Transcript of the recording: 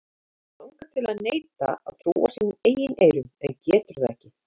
Hann langar til að neita að trúa sínum eigin eyrum en getur það ekki.